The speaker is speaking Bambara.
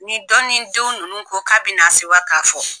Nin dɔ ni denw ninnu ko k'a bɛ na sewa k'a fɔ